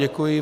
Děkuji.